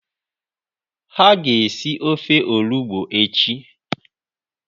Ha ga esi ofe olugbu echi.